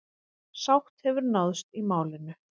Sátt hefur náðst í málinu.